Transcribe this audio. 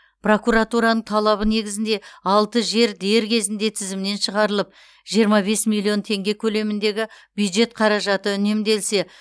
прокуратураның талабы негізінде алты жер дер кезінде тізімнен шығарылып жиырма бес миллион теңге көлеміндегі бюджет қаражаты үнемделсе